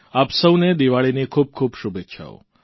આપ સૌને દીવાળીની ખૂબ ખૂબ શુભેચ્છાઓ